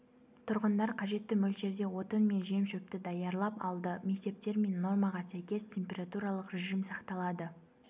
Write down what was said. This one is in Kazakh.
тұрғындар қажетті мөлшерде отын мен жем-шөпті даярлап алды мектептер мен нормаға сәйкес температуралық режим сақталады